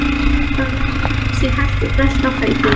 Þá rétti hann úr sér hægt og brölti á fætur.